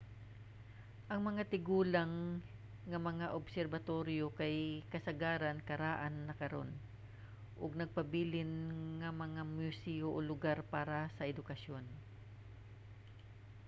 ang mga tigulang nga mga obserbatoryo kay kasagaran karaan na karon ug nagpabilin nga mga museyo o lugar para sa edukasyon